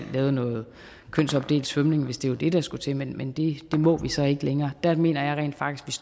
lavet noget kønsopdelt svømning hvis det var det der skulle til men det må vi så ikke længere der mener jeg rent faktisk